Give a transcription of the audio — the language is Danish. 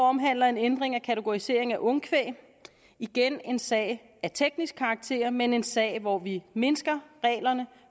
omhandler en ændring af kategorisering af ungkvæg igen en sag af teknisk karakter men en sag hvor vi mindsker reglerne